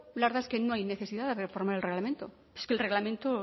la verdad es que no hay necesidad de reformar el reglamento es que el reglamento